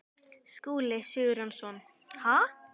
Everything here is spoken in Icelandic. Skúli Sigurjónsson: Ha?